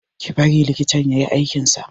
Ki bar likitan ya yi aikin sa!